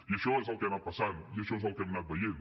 i això és el que anat passant i això és el que hem anat veient